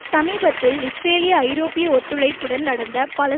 சமீபத்தில் இஸ்ரேலிய ஐரோப்பிய ஒத்துழைப்புடன் நடந்த பல